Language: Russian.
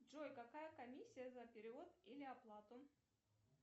джой какая комиссия за перевод или оплату